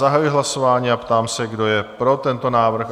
Zahajuji hlasování a ptám se, kdo je pro tento návrh?